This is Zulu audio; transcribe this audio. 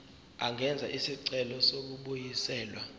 angenza isicelo sokubuyiselwa